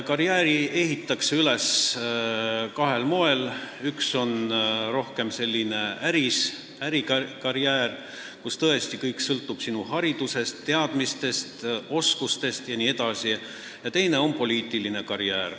Karjääri ehitatakse üles kahel moel: üks on rohkem ärikarjäär, kus kõik sõltub tõesti sinu haridusest, teadmistest, oskustest jne, ja teine on poliitiline karjäär.